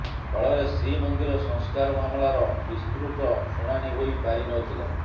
ଫଳରେ ଶ୍ରୀମନ୍ଦିର ସଂସ୍କାର ମାମଲାର ବିସ୍ତୃତ ଶୁଣାଣି ହୋଇ ପାରିନଥିଲା